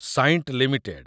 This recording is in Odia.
ସାଇଣ୍ଟ ଲିମିଟେଡ୍